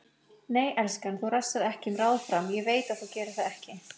Nei, elskan, þú rasar ekki um ráð fram, ég veit að þú gerir það ekki.